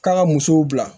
K'a ka musow bila